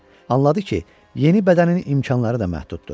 Anladı ki, yeni bədənin imkanları da məhduddur.